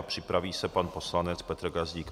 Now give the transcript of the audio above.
A připraví se pan poslanec Petr Gazdík.